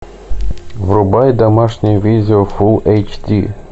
врубай домашнее видео фулл эйч ди